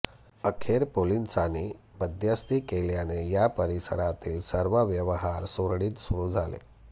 अखेर पोलिसांनी मध्यस्थी केल्याने या परिसरातील सर्व व्यवहार सुरळीत सुरू झाले